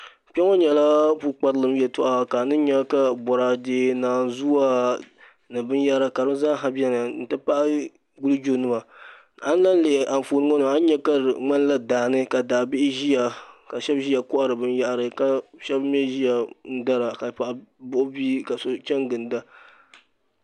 Kpɛ ŋɔ yɛla pukparilim yɛtɔɣa ka aniyɛ ka bɔradɛ nanzua ni biniyɛra ka di zaaha bɛni n tipahi wulijo nima ayi lahi lihi Anfooni ŋɔ ni ani yɛ ka di ŋmanila daani ka daa bihi ziya ka shɛba ziya kɔhiri bini yahari ka shɛba mi ziya n daraka ka paɣa buɣi bia.